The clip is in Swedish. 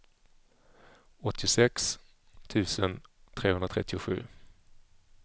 åttiosex tusen trehundratrettiosju